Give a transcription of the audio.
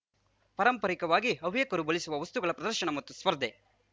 ಪರಂಪರಿಕವಾಗಿ ಹವ್ಯಕರು ಬಳಸುವ ವಸ್ತುಗಳ ಪ್ರದರ್ಶನ ಮತ್ತು ಸ್ಪರ್ಧೆ